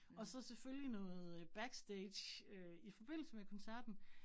Og så selvfølgelig noget øh backstage øh i forbindelse med koncerten